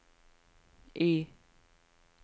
Y